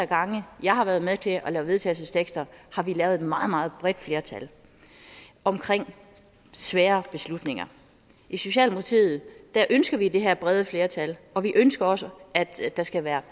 gange jeg har været med til at lave vedtagelse har det været meget bredt flertal omkring svære beslutninger i socialdemokratiet ønsker vi det her brede flertal og vi ønsker også at der skal være